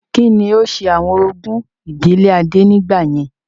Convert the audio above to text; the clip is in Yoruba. Kí ni ó ṣe àwọn orogún ìdílé adé nígbà yẹn?